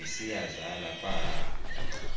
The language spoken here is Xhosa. gcis iyazala pahaha